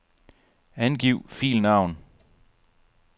Angiv filnavn.